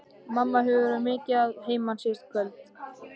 Mamma hefur verið mikið að heiman síðustu kvöld.